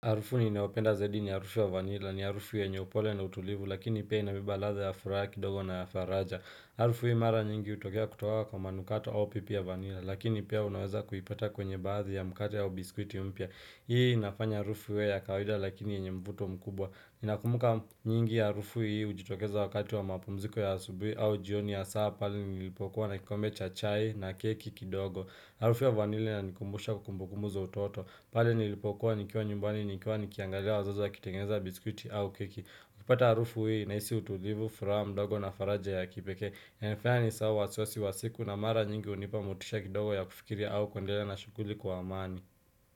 Arufu ni nayopenda zaidi ni arufu ya vanila ni arufu yenye upole na utulivu lakini pia inabeba latha ya furaha kidogo na ya faraja Arufu hii mara nyingi utokea kutoka kwa manukato au pipi ya vanila lakini pia unaweza kuipata kwenye baadhi ya mkate au biskwiti mpya Hii inafanya arufu iwe ya kawida lakini yenye mvuto mkubwa nakumbuka nyingi ya arufu hii ujitokeza wakati wa mapumziko ya asubuhi au jioni ya hasa pale nilipokuwa nakikombe cha chai na keki kidogo Harufu ya vanilla ina nikumbusha kumbukumbu za utoto, pale nilipokua nikiwa nyumbani nikiwa nikiangalia wazazi waki tengeza biskuiti au keki. Ukipata harufu hii, naisi utulivu, furaha, mdogo na faraja ya kipekee. Inanifanya nisahau wasiwasi wasiku na mara nyingi hunipa motisha kidogo ya kufikiria au kuendelea na shughuli kwa amani.